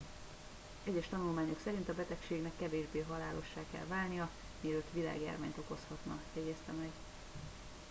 egyes tanulmányok szerint a betegségnek kevésbé halálossá kell válnia mielőtt világjárványt okozhatna jegyezte meg